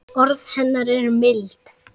Var mikil byggð við Lækinn?